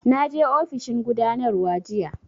Na je ofishin gudanarwa jiya